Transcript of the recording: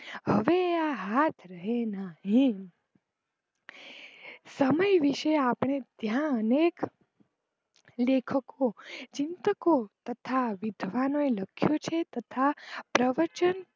હવે આ હાથ રહે ના રહે સમય વિષે આપડે ત્યાં અનેક લેખકો, ચિંતકો તથા, વિદ્વાનનો એ લખિયું છે તથા પ્રવચન